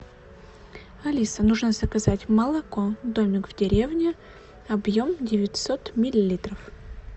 алиса нужно заказать молоко домик в деревне объем девятьсот миллилитров